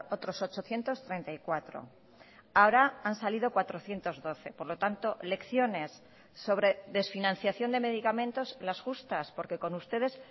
otros ochocientos treinta y cuatro ahora han salido cuatrocientos doce por lo tanto lecciones sobre desfinanciación de medicamentos las justas porque con ustedes